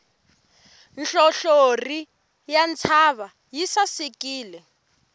nhlonhlori ya ntshava yi sasekile